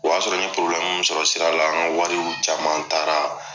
O y'a sɔrɔ n ye porobilɛmu minnu sɔrɔ sirala an ka wariw caman taara